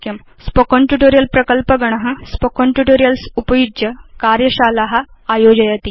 spoken tutorial प्रकल्प गण spoken tutorials उपयुज्य कार्यशाला आयोजयति